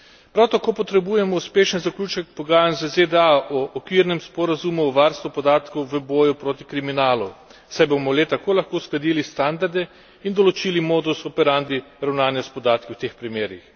Prav tako potrebujemo uspešen zaključek pogajanj z ZDA o okvirnem sporazumu o varstvu podatkov v boju proti kriminalu, saj bomo le tako lahko uskladili standarde in določili modus operandi ravnanja s podatki v teh primerih.